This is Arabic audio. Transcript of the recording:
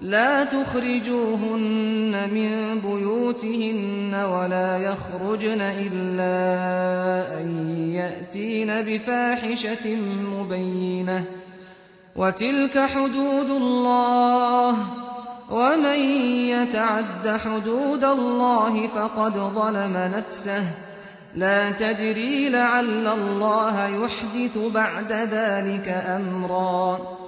لَا تُخْرِجُوهُنَّ مِن بُيُوتِهِنَّ وَلَا يَخْرُجْنَ إِلَّا أَن يَأْتِينَ بِفَاحِشَةٍ مُّبَيِّنَةٍ ۚ وَتِلْكَ حُدُودُ اللَّهِ ۚ وَمَن يَتَعَدَّ حُدُودَ اللَّهِ فَقَدْ ظَلَمَ نَفْسَهُ ۚ لَا تَدْرِي لَعَلَّ اللَّهَ يُحْدِثُ بَعْدَ ذَٰلِكَ أَمْرًا